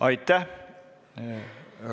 Aitäh!